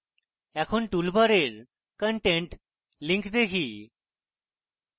এখনা toolbar content link দেখি